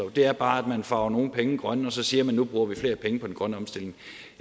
det er bare at man farver nogle penge grønne og så siger man at nu bruger vi flere penge på den grønne omstilling